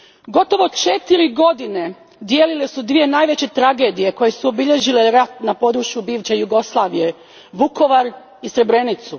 Gotovo četiri godine dijelile su dvije najveće tragedije koje su obilježile rat na području bivše Jugoslavije Vukovar i Srebrenicu.